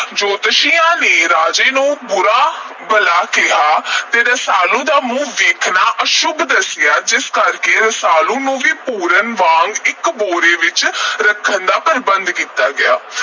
ਜੋਤਸ਼ੀਆਂ ਨੇ ਰਾਜੇ ਨੂੰ ਬੁਰਾ ਭਲਾ ਕਿਹਾ ਤੇ ਰਸਾਲੂ ਦਾ ਮੂੰਹ ਦੇਖਣਾ ਅਸ਼ੁੱਭ ਦੱਸਿਆ, ਜਿਸ ਕਰਕੇ ਰਸਾਲੂ ਨੂੰ ਵੀ ਪੂਰਨ ਵਾਂਗ ਇਕ ਭੋਰੇ ਵਿਚ ਰੱਖਣ ਦਾ ਪ੍ਰਬੰਧ ਕੀਤਾ ਗਿਆ।